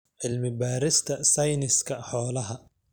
Cilmi-baarista Sayniska Xoolaha.